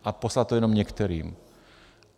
A poslat to jenom některým.